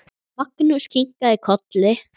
Magnús kinkaði kolli.